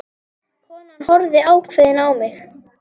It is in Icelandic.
Konan horfði ákveðin á mig.